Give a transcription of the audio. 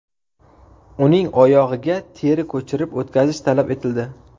Uning oyog‘iga teri ko‘chirib o‘tkazish talab etildi.